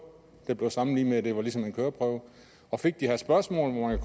det blev sammenlignet med at det var ligesom en køreprøve og fik de her spørgsmål hvor man